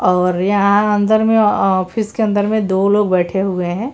और यहां अंदर में ऑफिस के अंदर में दो लोग बैठे हुए हैं।